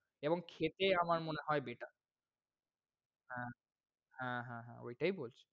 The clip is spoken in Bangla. এবং খেতে আমার মনে হয় better ।হ্যাঁ, হ্যাঁহ্যাঁহ্যাঁ ওইটায় এই বলছি।